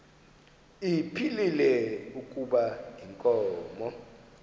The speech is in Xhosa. ephilile kuba inkomo